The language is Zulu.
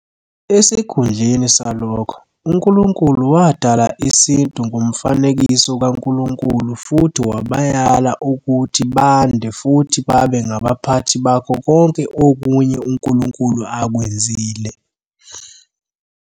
Esikhundleni salokho, uNkulunkulu wadala isintu ngomfanekiso kaNkulunkulu futhi wabayala ukuthi bande futhi babe ngabaphathi bakho konke okunye uNkulunkulu akwenzile.